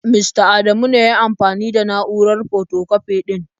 Mista Adamu ne ya yi amfani da na'urar fotokwafi ɗin.